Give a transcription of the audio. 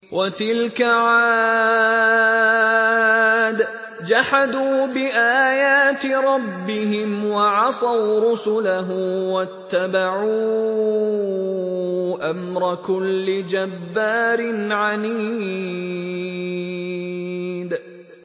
وَتِلْكَ عَادٌ ۖ جَحَدُوا بِآيَاتِ رَبِّهِمْ وَعَصَوْا رُسُلَهُ وَاتَّبَعُوا أَمْرَ كُلِّ جَبَّارٍ عَنِيدٍ